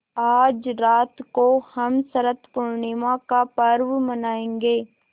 आज रात को हम शरत पूर्णिमा का पर्व मनाएँगे